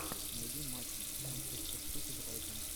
найти матч манчестер сити брайтон